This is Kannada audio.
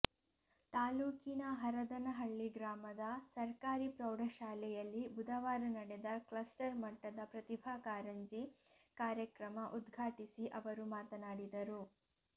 ತಾಲ್ಲೂಕಿನ ಹರದನಹಳ್ಳಿ ಗ್ರಾಮದ ಸರ್ಕಾರಿ ಪ್ರೌಢಶಾಲೆಯಲ್ಲಿ ಬುಧವಾರ ನಡೆದ ಕ್ಲಸ್ಟರ್ ಮಟ್ಟದ ಪ್ರತಿಭಾ ಕಾರಂಜಿ ಕಾರ್ಯಕ್ರಮ ಉದ್ಘಾಟಿಸಿ ಅವರು ಮಾತನಾಡಿದರು